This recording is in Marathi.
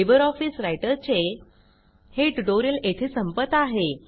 लिबर ऑफिस रायटर चे हे ट्यूटोरियल येथे संपत आहे